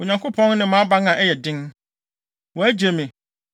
Onyankopɔn ne mʼaban a ɛyɛ den; wagye me, na wama me kwan so ayɛ pɛ.